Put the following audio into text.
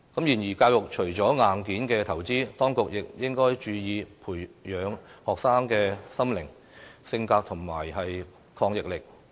然而，教育除了硬件投資，當局亦應注意培養學生的心靈、性格和抗逆力。